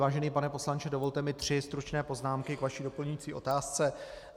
Vážený pane poslanče, dovolte mi tři stručné poznámky k vaší doplňující otázce.